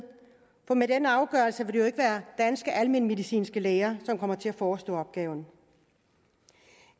for med den afgørelse vil det jo ikke være danske almenmedicinske læger der kommer til at forestå opgaven